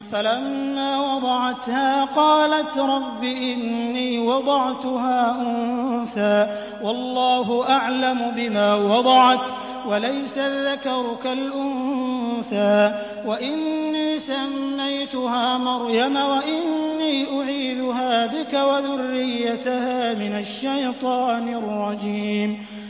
فَلَمَّا وَضَعَتْهَا قَالَتْ رَبِّ إِنِّي وَضَعْتُهَا أُنثَىٰ وَاللَّهُ أَعْلَمُ بِمَا وَضَعَتْ وَلَيْسَ الذَّكَرُ كَالْأُنثَىٰ ۖ وَإِنِّي سَمَّيْتُهَا مَرْيَمَ وَإِنِّي أُعِيذُهَا بِكَ وَذُرِّيَّتَهَا مِنَ الشَّيْطَانِ الرَّجِيمِ